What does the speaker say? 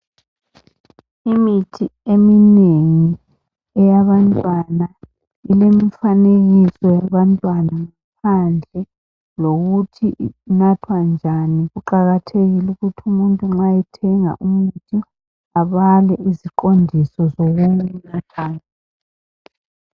Imithi eminengi eyebantwana ilemifanekiso yabantwana phandle lokuthi inathwa njani. Kuqakathekile ukuthi umuntu nxa ethenga umuthi abale iziqondiso zokuwunatha.